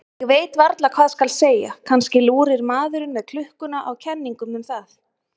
Ég veit varla hvað skal segja, kannski lúrir maðurinn með klukkuna á kenningum um það.